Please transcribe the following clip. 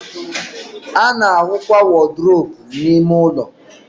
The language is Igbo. a na-ahụkwa wọdrobụ n'ime ụlọ.